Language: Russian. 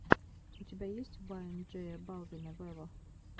у тебя есть вайн джея балвина вево